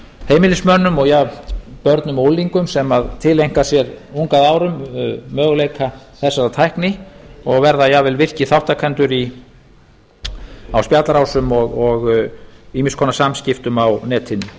heimilismönnum jafnt börnum og unglingum sem tileinka sér ung að árum möguleika þessarar tækni og verða jafnvel virkir þátttakendur á spjallrásum og ýmiss konar samskiptum á netinu